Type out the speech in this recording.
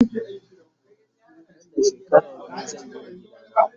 Nan da shekara biyu zan Gina gida na